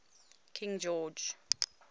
king george